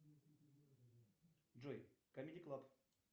джой камеди клаб